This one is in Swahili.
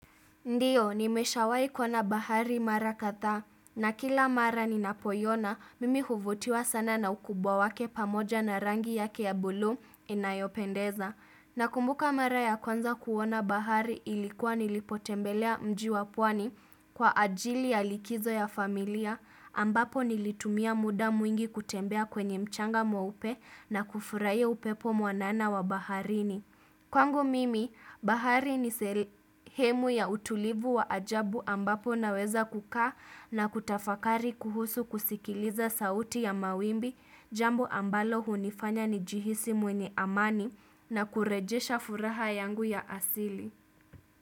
Ndio, nimeshawai kuwa na bahari mara kadhaa, na kila mara ni napoiona, mimi huvutiwa sana na ukubwa wake pamoja na rangi yake ya bulu inayopendeza. Na kumbuka mara ya kwanza kuona bahari ilikuwa nilipotembelea mji wa pwani kwa ajili ya likizo ya familia, ambapo nilitumia muda mwingi kutembea kwenye mchanga mweupe na kufurahia upepo mwanana wa baharini. Kwangu mimi, bahari ni sehemu ya utulivu wa ajabu ambapo naweza kukaa na kutafakari kuhusu kusikiliza sauti ya mawimbi jambo ambalo hunifanya ni jihisi mwenye amani na kurejesha furaha yangu ya asili.